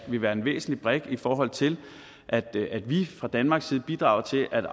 vil være en væsentlig brik i forhold til at at vi fra danmarks side bidrager til at